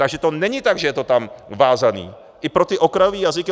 Takže to není tak, že je to tam vázané i pro ty okrajové jazyky.